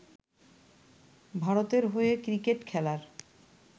ভারতের হয়ে ক্রিকেট খেলার